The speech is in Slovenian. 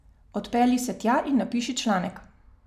Odpelji se tja in napiši članek.